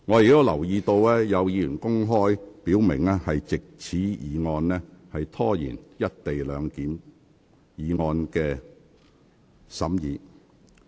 我留意到，有議員已公開表明藉這項議案拖延審議"一地兩檢"議案。